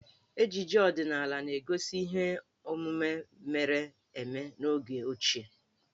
Ejije ọdinaala na-egosi ihe omume mere eme n'oge ochie.